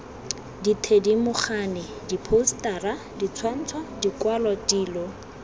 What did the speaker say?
dithedimogane diphousetara ditshwantsho dikwalwa dilo